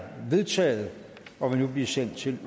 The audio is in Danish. vedtaget og vil nu blive sendt til